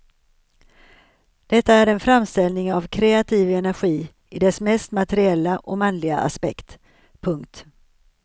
Detta är en framställning av kreativ energi i dess mest materiella och manliga aspekt. punkt